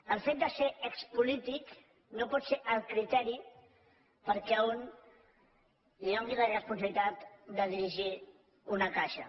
el fet de ser expolític no pot ser el criteri perquè a un li do·nin la responsabilitat de dirigir una caixa